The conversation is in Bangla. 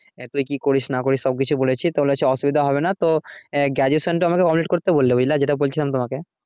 এতই কি করিস না করিস সব কিছুই বলেছি তো বলেছে অসুবিধা হবে না তো graduation টা complete করতে বললো বুঝলা যেটা বলছিলাম তোমাকে।